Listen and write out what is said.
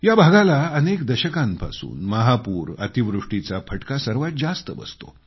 या भागाला अनेक दशकांपासून महापूर अतिवृष्टीचा फटका सर्वात जास्त बसतो